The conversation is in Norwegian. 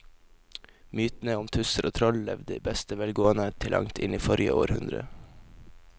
Mytene om tusser og troll levde i beste velgående til langt inn i forrige århundre.